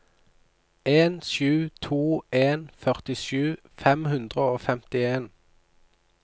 en sju to en førtisju fem hundre og femtien